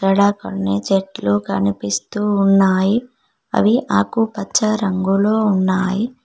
ఇక్కడ కొన్ని చెట్లు కనిపిస్తూ ఉన్నాయి అవి ఆకుపచ్చ రంగులో ఉన్నాయి.